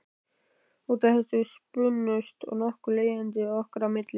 Út af þessu spunnust nokkur leiðindi okkar á milli.